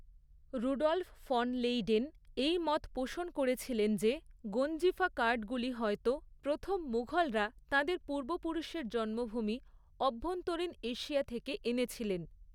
Rudolph von Leyden এই মত পোষণ করেছিলেন যে, গঞ্জিফা কার্ডগুলি হয়ত প্রথম মুঘলরা তাঁদের পূর্বপুরুষের জন্মভূমি অভ্যন্তরীণ এশিয়া থেকে এনেছিলেন।